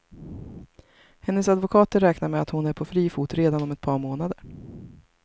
Hennes advokater räknar med att hon är på fri fot redan om ett par månader.